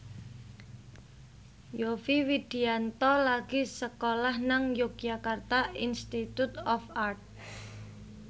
Yovie Widianto lagi sekolah nang Yogyakarta Institute of Art